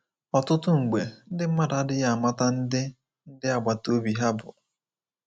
Ọtụtụ mgbe, ndị mmadụ adịghị amata ndị ndị agbata obi ha bụ.